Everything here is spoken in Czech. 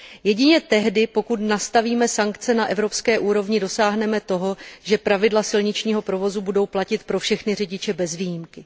Jedině tehdy, pokud nastavíme sankce na evropské úrovni, dosáhneme toho, že pravidla silničního provozu budou platit pro všechny řidiče bez výjimky.